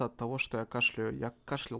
от того что я кашляю я кашлял